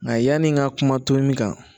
Mɛ yani n ka kuma to min kan